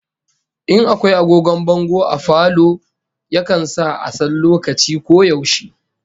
In akwai agogon bango a falo, yakan sa a san lokaci ko yaushe